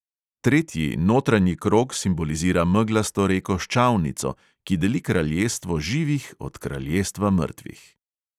Tretji, notranji krog simbolizira meglasto reko ščavnico, ki deli kraljestvo živih od kraljestva mrtvih.